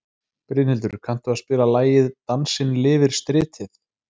Brynhildur, kanntu að spila lagið „Dansinn lifir stritið“?